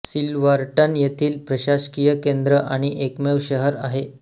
Silverton येथील प्रशासकीय केन्द्र आणि एकमेव शहर आहे